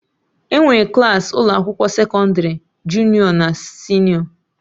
Enwere Klassị ụlọ akwụkwọ sekọndrị junịọ na senịọ